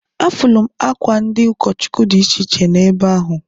Afụlụ m akwa ndị ụkọchụkwụ dị iche na ebe ahụ.